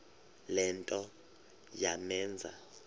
le nto yamenza